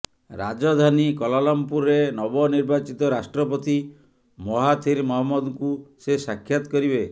ରାଜଧାନୀ କ୍ୱାଲାଲୁମ୍ପୁରରେ ନବ ନିର୍ବାଚିତ ରାଷ୍ଟ୍ରପତି ମହାଥିର ମହମ୍ମଦଙ୍କୁ ସେ ସାକ୍ଷାତ କରିବେ